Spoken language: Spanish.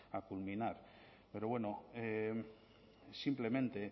a culminar pero bueno simplemente